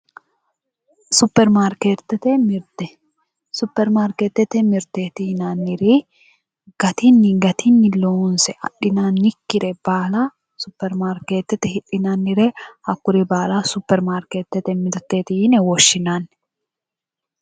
Supermarketete mirte supermarketete mirte yinanniri gatinni loonse adhinannikkire baala supermarketete hidhinannire hakkuri baala supermarketete mirteeti yine woshshinanni